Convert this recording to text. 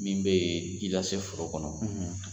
Min bɛ ji lase foro kɔnɔ.